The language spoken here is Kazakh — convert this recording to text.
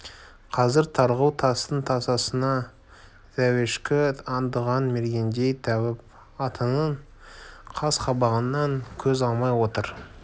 қазір тарғыл тастың тасасынан тауешкі аңдыған мергендей тәуіп атаның қас-қабағынан көз алмай отыр